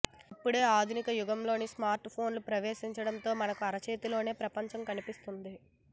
ఇప్పుడు ఆధునిక యుగంలో స్మార్ట్ ఫోన్లు ప్రవేశించడంతో మనకు అరచేతిలోనే ప్రపంచం కనిపిస్తుంది